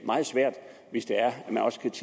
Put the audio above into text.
meget svært hvis det